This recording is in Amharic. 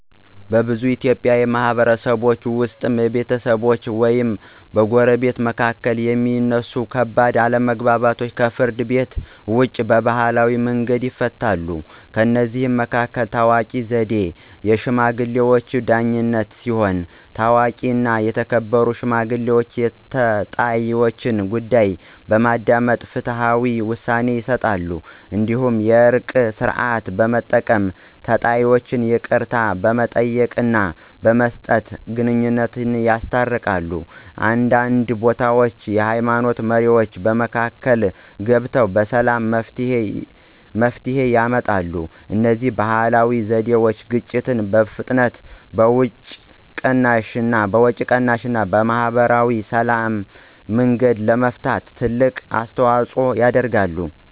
በብዙ የኢትዮጵያ ማህበረሰቦች ውስጥ ከቤተሰቦች ወይም ከጎረቤቶች መካከል የሚነሱ ከባድ አለመግባባቶች ከፍርድ ቤት ውጭ በባህላዊ መንገዶች ይፈታሉ። ከእነዚህ መካከል ታዋቂው ዘዴ “የሽማግሌዎች ዳኝነት” ሲሆን፣ ታዋቂና የተከበሩ ሽማግሌዎች የተጣይወችን ጉዳይ በማዳመጥ ፍትሃዊ ውሳኔ ይሰጣሉ። እንዲሁም “የእርቅ ሥርዓት” በመጠቀም ተጣይወች ይቅርታ በመጠየቅና በመስጠት ግንኙነታቸውን ያስታርቃሉ። አንዳንድ ቦታዎች የሃይማኖት መሪዎችም በመካከል ገብተው በሰላም መፍትሄ ያመጣሉ። እነዚህ ባህላዊ ዘዴዎች ግጭትን በፍጥነት፣ በወጪ ቅናሽ እና በማህበራዊ ሰላም መንገድ ለመፍታት ትልቅ አስተዋፅኦ ያደርጋሉ።